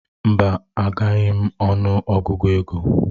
Mba, agaghị ọnụ Ọgụgụ ego.